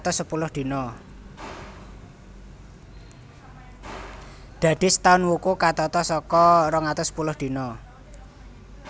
Dadi setaun wuku katata saka rong atus sepuluh dina